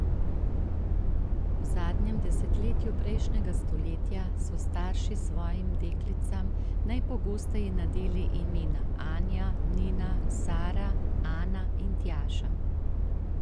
V zadnjem desetletju prejšnjega stoletja so starši svojim deklicam najpogosteje nadeli imena Anja, Nina, Sara, Ana in Tjaša.